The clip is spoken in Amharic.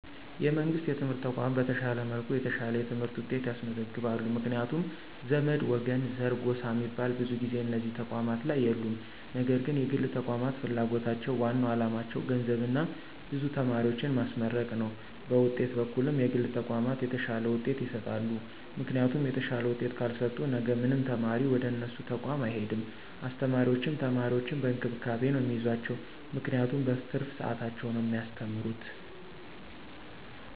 የመንግሥት የትምህርት ተቋማት በተሻለ መልኩ የተሻለ የትምህርት ውጤት ያስመዘግባሉ ምክንያቱም ዘመድ፣ ወገን፣ ዘር፣ ጎሳ ሚባል ብዙ ጊዜ እነዚህ ተቋማት ላይ የሉም ነገር ግን የግል ተቋማት ፍላጎታቸው ዋናው አላማቸው ገንዘብና ብዙ ተማሪዎችን ማስመረቅ ነው በውጤት በኩልም የግል ተቋማት የተሻለ ውጤት ይሰጣሉ ምክንያቱም የተሻለ ውጤት ካልሰጡ ነገ ማንም ተማሪ ወደነሱ ተቋም አይሄድም አስተማሪዎችም ተማሪዎችን በእንክብካቤ ነው ሚይዟቸው ምክንያቱም በትርፍ ሰዓታቸው ነው ሚያስተምሩት።